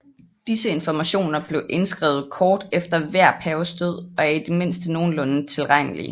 Disse informationer blev indskrevet kort efter hver paves død og er i det mindste nogenlunde tilregnlige